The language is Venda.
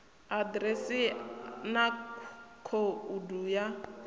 a ḓiresi na khoudu ya